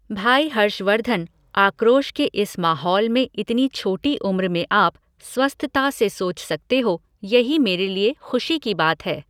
भाई हर्षवर्द्धन आक्रोश के इस माहौल में इतनी छोटी उम्र में आप स्वस्थता से सोच सकते हो, यही मेरे लिए ख़ुशी की बात है।